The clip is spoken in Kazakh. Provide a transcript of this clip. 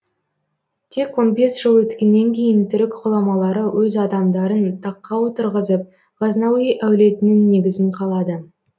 тек он бес жыл өткеннен кейін түрік ғұламалары өз адамдарын таққа отырғызып ғазнауи әулетінің негізін қалады